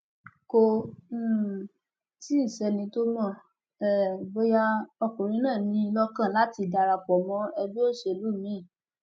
kò um tí ì sẹni tó mọ um bóyá ọkùnrin náà ní i lọkàn láti darapọ mọ ẹgbẹ òṣèlú miín